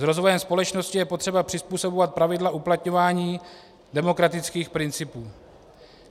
S rozvojem společnosti je potřeba přizpůsobovat pravidla uplatňování demokratických principů.